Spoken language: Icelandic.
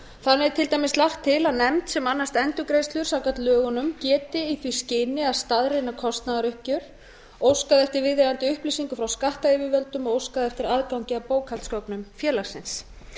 þannig er til dæmis lagt til að nefnd sem annast endurgreiðslur samkvæmt lögunum geti í því skyni að staðreyna kostnaðaruppgjör óskað eftir viðeigandi upplýsingum frá skattyfirvöldum og óskað eftir aðgangi að bókhaldsgögnum félagsins